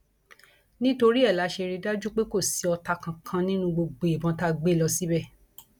nítorí ẹ la ṣe rí i dájú pé kò sí ọtá kankan nínú gbogbo ìbọn tá a gbé lọ síbẹ